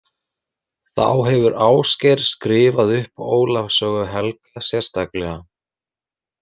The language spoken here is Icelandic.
Þá hefur Ásgeir skrifað upp Ólafs sögu helga sérstaklega